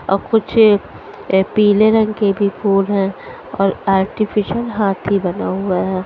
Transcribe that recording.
और कुछ ये पीले रंग के भी फूल है और आर्टिफीसियल हाथी बना हुआ है।